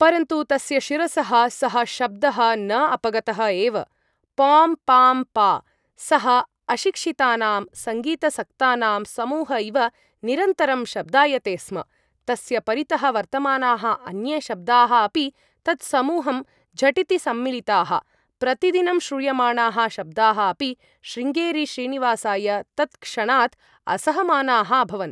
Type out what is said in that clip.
परन्तु, तस्य शिरसः सः शब्दः न अपगतः एव। पोम्! पाम्! पा..! सः अशिक्षितानां सङ्गीतासक्तानां समूह इव निरन्तरं शब्दायते स्म। तस्य परितः वर्तमानाः अन्ये शब्दाः अपि तत्समूहं झटिति सम्मिलिताः। प्रतिदिनं श्रूयमाणाः शब्दाः अपि, शृङ्गेरी श्रीनिवासाय, तत्क्षणात् असहमानाः अभवन्।